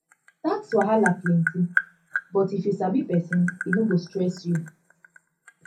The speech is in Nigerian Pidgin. tax wahala plenty but if you sabi pesin e no go stress you